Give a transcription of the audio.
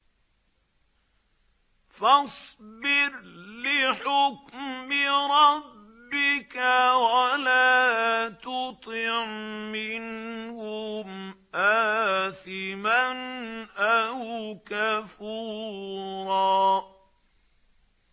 فَاصْبِرْ لِحُكْمِ رَبِّكَ وَلَا تُطِعْ مِنْهُمْ آثِمًا أَوْ كَفُورًا